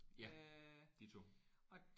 Ja ditto